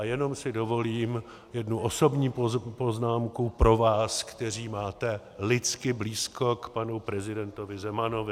A jenom si dovolím jednu osobní poznámku pro vás, kteří máte lidsky blízko k panu prezidentovi Zemanovi.